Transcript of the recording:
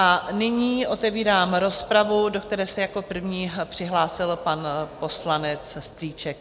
A nyní otevírám rozpravu, do které se jako první přihlásil pan poslanec Strýček.